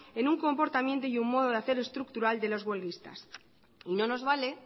en un comportamiento y un modo de hacer estructural de los huelguistas y no nos vale